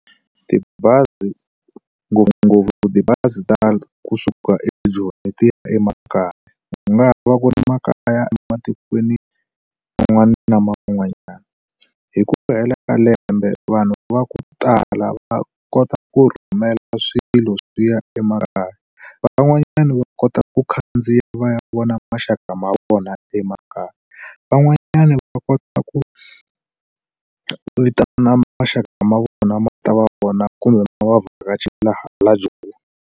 Tibazi ngopfungopfu tibazi ti tala kusuka eJoni letiya emakaya ku nga ha va ku ri makaya ematikweni man'wana ma van'wanyana hi ku hela ka lembe vanhu va ku tala va kota ku rhumela swilo swiya emakaya van'wanyana va kota ku khandziya va ya vona maxaka ma vona emakaya van'wanyana va kota ku vitana maxaka ma vona ma ta va vona kumbe ma va vhakachela la Joni.